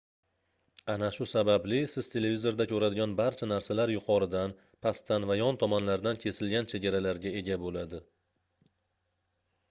ana shu sababli siz televizorda koʻradigan barcha narsalar yuqoridan pastdan va yon tomonlardan kesilgan chegaralarga ega boʻladi